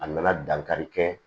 A nana dankari kɛ